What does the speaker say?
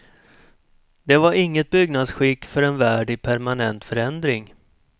Det var inget byggnadsskick för en värld i permanent förändring.